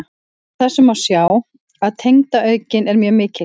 Af þessu má sjá að tegundaauðgin er mjög mikil.